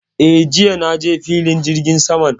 Eh, jiya na je filin jirgin saman